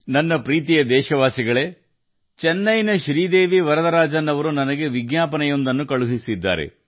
ನನ್ನ ಪ್ರೀತಿಯ ದೇಶವಾಸಿಗಳೇ ಚೆನ್ನೈನ ಶ್ರೀದೇವಿ ವರದರಾಜನ್ ಜೀ ಅವರು ನನಗೆ ವಿಜ್ಞಾಪನೆಯನ್ನು ಕಳುಹಿಸಿದ್ದಾರೆ